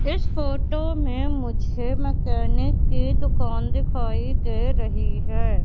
इस फोटो में मुझे मैकेनिक की दुकान दिखाई दे रही है।